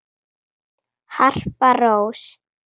Harpa Rós.